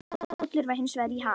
Kollur var hins vegar í ham.